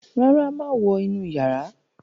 ràrá máa wọ inú iyàrá.